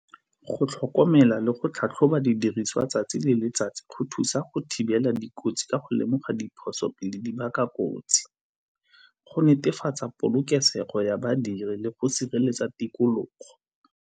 Go tlhokomela le go tlhatlhoba didiriswa 'tsatsi le letsatsi go thusa go thibela dikotsi ka go lemoga diphoso le di baka kotsi. Go netefatsa polokesego ya badiri le go sireletsa tikologo.